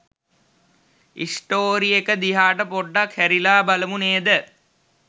Story එක දිහාට පොඩ්ඩක් හැරිලා බලමු නේද?